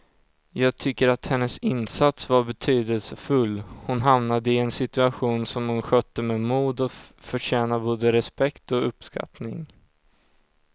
Jag tycker att hennes insats var betydelsefull, hon hamnade i en situation som hon skötte med mod och förtjänar både respekt och uppskattning.